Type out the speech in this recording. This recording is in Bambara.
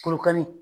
Korokalen